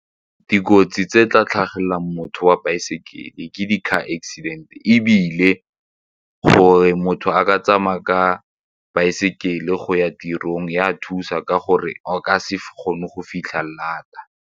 Dikotsi tse tla tlhagelelang motho wa baesekele ke di-car accident ebile gore motho a ka tsamaya ka baesekele go ya tirong e a thusa ka gore a ka se kgone go fitlha late-a.